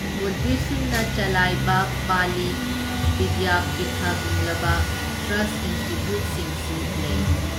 ꯕꯨꯗꯙꯤꯁꯠꯁꯤꯡꯅ ꯆꯂꯥꯏꯕ ꯄꯥꯂꯤ ꯕꯤꯗ꯭ꯌꯥꯄꯤꯊꯒꯨꯝꯂꯕ ꯇ꯭ꯔꯁꯠ ꯏꯟꯁꯇꯤꯇ꯭ꯌꯨꯠꯁꯤꯡꯁꯨ ꯂꯩꯔꯤ꯫